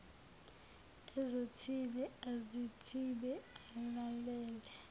ezothile azithibe alalele